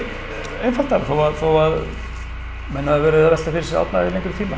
einfaldara þó að þó að menn hafi verið að velta fyrir sér Árna í lengri tíma